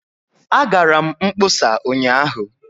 Agara m mkpọsa ụnyaahụ